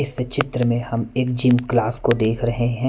इस चित्र में हम एक जिम ग्लास को देख रहे है।